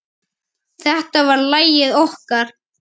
Þetta var lagið okkar.